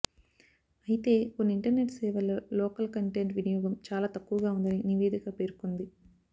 అయితే కొన్ని ఇంటర్నెట్ సేవల్లో లోకల్ కంటెంట్ వినియోగం చాలా తక్కువగా ఉందని నివేదిక పేర్కొంది